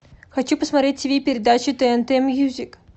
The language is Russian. хочу посмотреть тв передачу тнт мьюзик